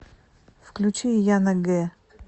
включи яна гэ